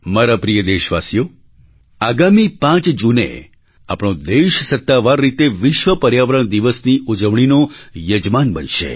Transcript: મારા પ્રિય દેશવાસીઓ આગામી પાંચ જૂને આપણો દેશ સત્તાવાર રીતે વિશ્વ પર્યાવરણ દિવસની ઉજવણીનો યજમાન બનશે